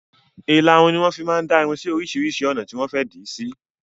Ìlarun ni wọn fi máa ń dá irun sì oríṣiríṣi ọ̀nà tí wọn fẹ di sí.